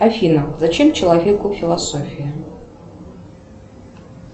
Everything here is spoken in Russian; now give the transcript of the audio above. афина зачем человеку философия